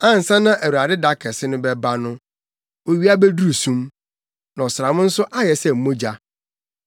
Ansa na Awurade da kɛse no bɛba no, owia beduru sum na ɔsram nso ayɛ sɛ mogya.